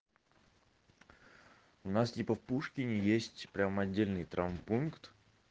у нас типа в пушкине есть прямо отдельный травмпункт